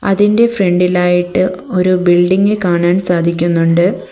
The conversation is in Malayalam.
അതിൻ്റെ ഫ്രണ്ടിലായിട്ട് ഒരു ബിൽഡിങ് കാണാൻ സാധിക്കുന്നുണ്ട്.